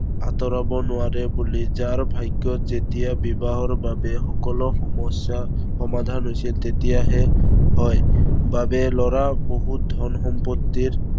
আঁতৰাব নোৱাৰে বুলি। যাৰ ভাগ্য়ত যেতিয়া বিবাহৰ বাবে সকলো সমস্য়া সমাধান হৈছে, তেতিয়াহে হয়। বাবে লৰাৰ বহুত ধন সম্পত্তিৰ